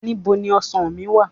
Ní bo ni ọsàn mí wà?